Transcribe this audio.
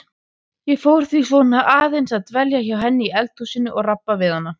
Ég fór því svona aðeins að dvelja hjá henni í eldhúsinu og rabba við hana.